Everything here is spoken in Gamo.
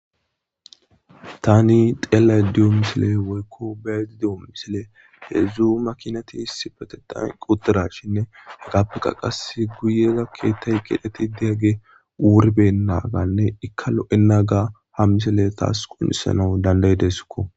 tani xeella diyo misile woykko bedi de7o misile heedzu makinati isipetetan equtira shinne hagappekka qas guyeza keettay qidheti deyagge wurbennaganne ikka lo7enaga ha misile taas qounisana danday dessikko